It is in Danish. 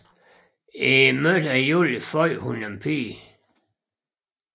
I midten af juli fødte hun en pige